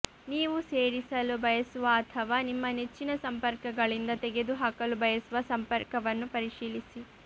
ನೀವು ಸೇರಿಸಲು ಬಯಸುವ ಅಥವಾ ನಿಮ್ಮ ನೆಚ್ಚಿನ ಸಂಪರ್ಕಗಳಿಂದ ತೆಗೆದುಹಾಕಲು ಬಯಸುವ ಸಂಪರ್ಕವನ್ನು ಪರಿಶೀಲಿಸಿ